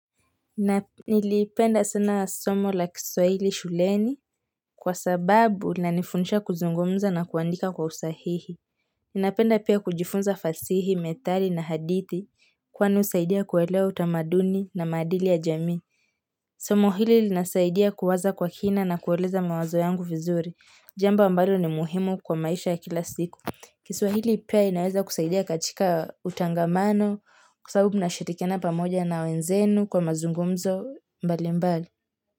Nilipenda sana somo la Kiswahili shuleni kwa sababu linanifundisha kuzungumza na kuandika kwa usahihi ninapenda pia kujifunza fasihi, methali na hadithi kwani husaidia kuelewa utamaduni na maadili ya jamii somo hili linasaidia kuwaza kwa kina na kueleza mawazo yangu vizuri, jambo ambalo ni muhimu kwa maisha ya kila siku. Kiswahili pia inaweza kusaidia katika utangamano kwa sababu mnashirikiana pamoja na wenzenu kwa mazungumzo mbalimbali.